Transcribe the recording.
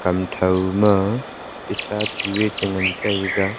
hamtho ma star chu e chan ngan taiga.